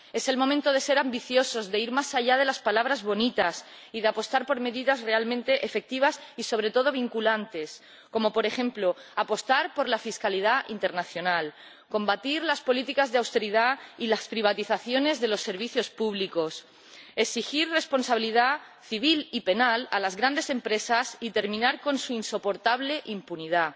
Es el momento de ser ambiciosos, de ir más allá de las palabras bonitas y de apostar por medidas realmente efectivas y sobre todo vinculantes, como, por ejemplo, apostar por la fiscalidad internacional, combatir las políticas de austeridad y las privatizaciones de los servicios públicos, exigir responsabilidad civil y penal a las grandes empresas y terminar con su insoportable impunidad,